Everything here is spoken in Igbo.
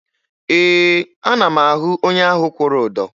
Ee, ana m ahụ onye ahụ kwụrụ ụdọ